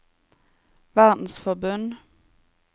verdensforbund